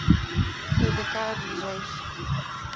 тдк ближайший